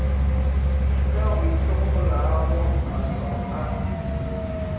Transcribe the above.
se o itlhokomologa maswao a